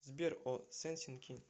сбер о сенсин ки